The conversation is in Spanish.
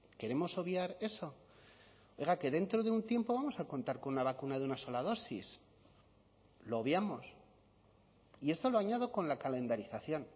queremos obviar eso oiga que dentro de un tiempo vamos a contar con una vacuna de una sola dosis lo obviamos y esto lo añado con la calendarización